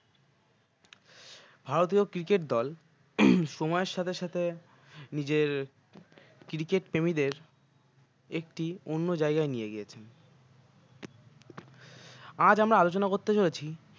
ভারতীয় cricket দল সময়ের সাথে সাথে নিজের cricket প্রেমিদের একটি অন্য জায়গায় নিয়ে গেছে আজ আমরা আলোচনা করতে চলেছি